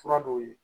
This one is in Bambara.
Fura dɔw ye